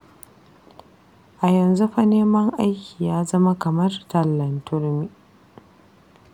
A yanzu fa neman aiki ya zama kamar tallan turmi.